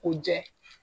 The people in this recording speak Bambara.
O jɛ